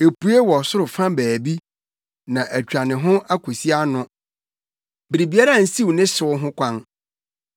Epue wɔ ɔsoro fa baabi na atwa ne ho akosi ano; biribiara nsiw ne hyew ho kwan.